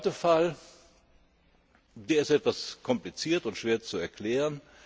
Der zweite Fall ist etwas kompliziert und schwer zu erklären.